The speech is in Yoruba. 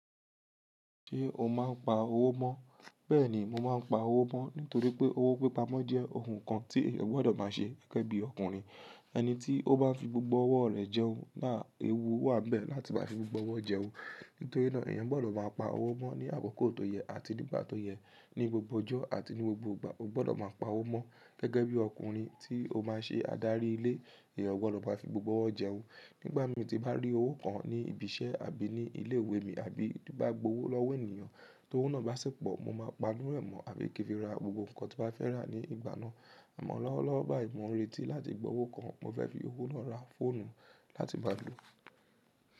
Ṣé o máa ń pa owó mọ́? Bẹ́ẹ̀ni mo máa ń pa owó mọ́ nítorí pé owó pípa mọ́ jẹ́ òhún kan tí èèyàn gbọ́dọ̀ máa ṣe gẹ́gẹ́ bí ọkùnrin. Ẹni tí ó bá fi gbògbò ọwọ́ rẹ̀ jẹun, áàh èwú wà níbẹ̀ láti máa fi gbògbò ọwọ́ jẹun. Nítorí náà èèyàn gbọ́dọ̀ máa pa owó mọ́ ní àkókò tó yẹ àti nígbà tó yẹ. Ní gbogbo ọjọ́ àti ní gbògbò ìgbà o gbọ́dọ̀ máa pa owó mọ́ gẹ́gẹ́ bí ọkùnrin tí ó máa ṣe ádárí ilé. Ẹ̀yàn gbọdọ̀ máa fi gbògbò ọwọ́ jẹun. Nígbà mí tí bá rí owó kan ní ibi iṣẹ́ àbí ní ilé ìwé mi àbí tí bá gba owó lọ́wọ́ ènìyàn, tó un náà bá sì pọ̀ mo máa pá nínú rẹ̀ mọ́ àbí kí n fi ra gbògbò nǹkan tí mo bá fẹ́ rà ní ìgbà náà. Àmọ́ lọ́wọ́lọ́wọ́ báyìí mò ń retí láti gba owó kan mo fẹ́ fi owó ná ra fóònù láti má lò.